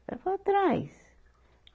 Ela falou, traz.